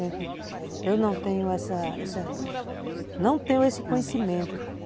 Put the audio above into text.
Eu não tenho essa essa não tenho esse conhecimento.